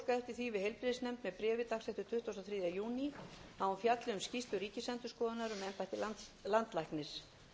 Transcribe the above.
heilbrigðisnefnd að hún fjalli um skýrslu ríkisendurskoðunar um embætti landlæknis